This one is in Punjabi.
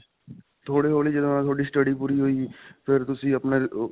ਥੋੜੀ-ਥੋੜੀ ਤੁਹਾਡੀ study ਪੂਰੀ ਹੋਈ ਫਿਰ ਤੁਸੀਂ ਆਪਣਾ